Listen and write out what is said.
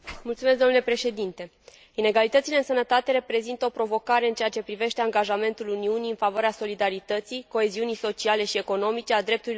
Inegalitățile în sănătate reprezintă o provocare în ceea ce privește angajamentul Uniunii în favoarea solidarității, coeziunii sociale și economice, a drepturilor omului și a șanselor egale.